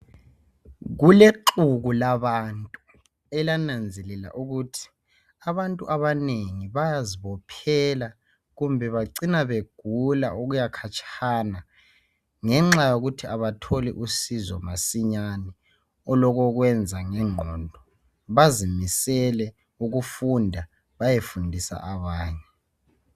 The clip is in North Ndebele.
Kulexuku labantu elananzelela ukuthi abantu abanengi bayazibophela kumbe bacina begula okuyakhatshana ngenxa yokuthi abatholi usizo masinyane olokokwenza ngengqondo bazimisele ukufunda bayefundisa abanye.